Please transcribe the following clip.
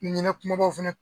Ni ɲinɛ kumabaw fɛnɛ